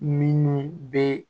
Minnu bɛ